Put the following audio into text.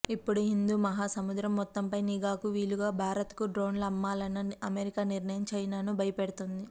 ఇప్పుడు హిందూ మహాసముద్రం మొత్తంపై నిఘాకు వీలుగా భారత్ కు డ్రోన్ల అమ్మాలన్న అమెరికా నిర్ణయం చైనాను భయపెడుతోంది